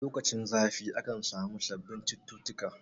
Lokacin zafi aka samu sabbin cututtuka